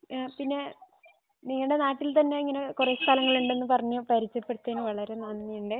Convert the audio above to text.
ആഹ് പിന്നെ നിങ്ങടെ നാട്ടിൽ തന്നെ ഇങ്ങനെ കൊറേ സ്ഥലങ്ങളുണ്ടെന്ന് പറഞ്ഞു പരിചയപ്പെടുത്തിയതിന് വളരെ നന്ദിയുണ്ട്